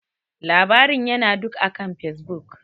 Labarin ya na duk akan Facebook.